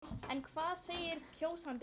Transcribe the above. En hvað segir kjósandinn?